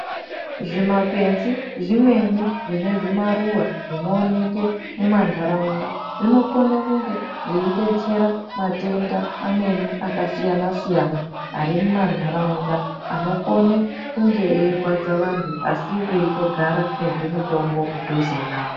Zvina kwenzi zvimweni zvine zvimaruva zvinooneke mu mandaraunda zvinokone kunge zvei detsera matenda amweni akanasiyana siyana ari mu mandaraunda anokone kunge eyirwadza vantu asi veitogara nezvi mutombo mudhuze navo.